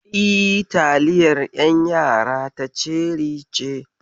E, taliyar ƴan yara ta ceri ce.